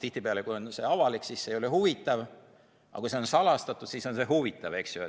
Tihtipeale, kui info on avalik, siis see ei ole huvitav, aga kui see on salastatud, siis on see huvitav, eks ju.